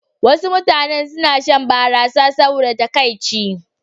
Wasu mutane suna shan barasa saboda takaici.